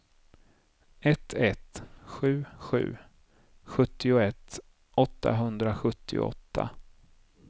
ett ett sju sju sjuttioett åttahundrasjuttioåtta